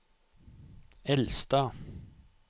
Elstad